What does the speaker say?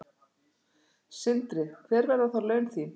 Sindri: Hver verða þá laun þín?